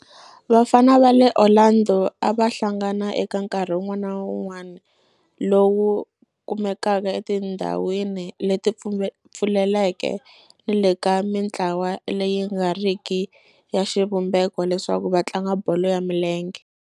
Vafana va le Orlando a va hlangana eka nkarhi wun'wana ni wun'wana lowu kumekaka etindhawini leti pfuleleke ni le ka mintlawa leyi nga riki ya xivumbeko leswaku va tlanga bolo ya milenge.